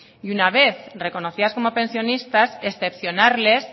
y una vez reconocidas como pensionistas excepcionarles